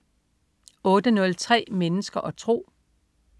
08.03 Mennesker og tro